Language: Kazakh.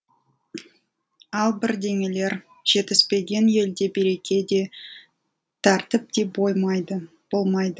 ал бірдеңелер жетіспеген елде береке де тәртіп те болмайды